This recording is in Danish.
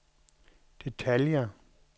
detaljer